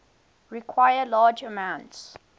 require large amounts